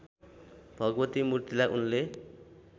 भगवती मूर्तिलाई उनले